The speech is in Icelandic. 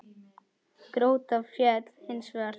Grótta féll hins vegar.